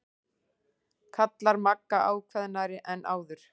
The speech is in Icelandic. kallar Magga ákveðnari en áður.